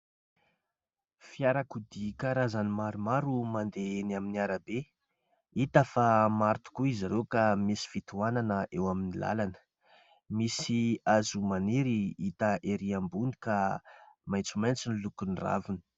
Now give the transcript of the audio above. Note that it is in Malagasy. Fiarakodia karazany maromaro no mandeha eny amin'ny arabe hita fa maro tokoa izy ireo ka misy fitohanana eo amin'ny lalana. Misy hazo maniry hita ery ambony ka maitsomaitso ny lokon'ny raviny.